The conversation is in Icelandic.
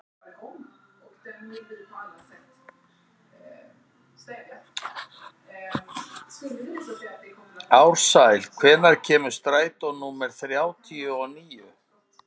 Ársæl, hvenær kemur strætó númer þrjátíu og níu?